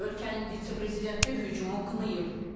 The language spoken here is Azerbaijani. Ölkənin vitse-prezidenti hücumu qınayıb.